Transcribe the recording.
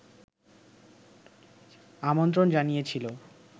আমন্ত্রণ জানিয়েছিল